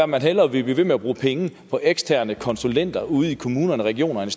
man hellere vil blive ved med at bruge penge på eksterne konsulenter ude i kommunerne regionerne